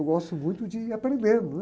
Eu gosto muito de aprender, não é?